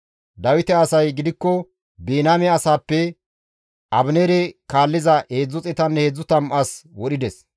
Dawite asay gidikko Biniyaame asaappe Abineere kaalliza 330 as wodhides.